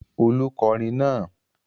Olú kọrin náà!